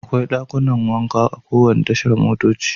Akwai dakunan wanka a kowane tashar motoci.